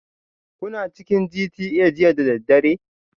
Kuna cikin GTA jiya da daddare?